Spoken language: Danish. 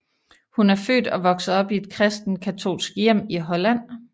Hun er født og vokset op i et kristent katolsk hjem i Holland